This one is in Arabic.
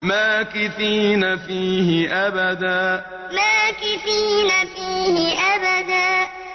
مَّاكِثِينَ فِيهِ أَبَدًا مَّاكِثِينَ فِيهِ أَبَدًا